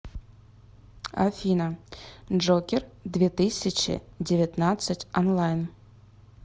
афина джокер две тысячи девятнадцать онлайн